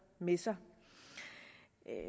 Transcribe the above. med sig